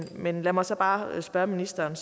men lad mig så bare spørge ministeren